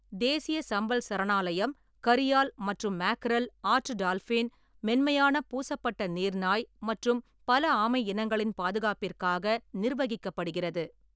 தேசிய சம்பல் சரணாலயம் கரியால் மற்றும் மெக்ரல், ஆற்று டால்ஃபின், மென்மையான பூசப்பட்ட நீர்நாய் மற்றும் பல ஆமை இனங்களின் பாதுகாப்பிற்காக நிர்வகிக்கப்படுகிறது.